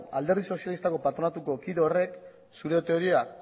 alderdi sozialistako patronatuko kide horrek zure